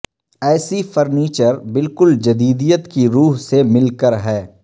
ایسی فرنیچر بالکل جدیدیت کی روح سے مل کر ہے